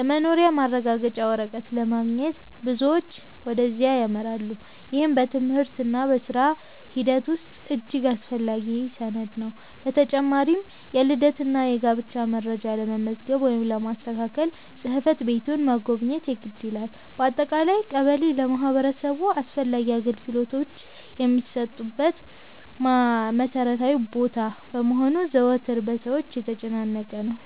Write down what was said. የመኖሪያ ማረጋገጫ ወረቀት ለማግኘት ብዙዎች ወደዚያ ያመራሉ፤ ይህም በትምህርትና በሥራ ሂደት ውስጥ እጅግ አስፈላጊ ሰነድ ነው። በተጨማሪም የልደትና የጋብቻ መረጃ ለመመዝገብ ወይም ለማስተካከል ጽሕፈት ቤቱን መጎብኘት የግድ ይላል። በአጠቃላይ ቀበሌ ለማህበረሰቡ አስፈላጊ አገልግሎቶች የሚሰጡበት መሠረታዊ ቦታ በመሆኑ ዘወትር በሰዎች የተጨናነቀ ነው።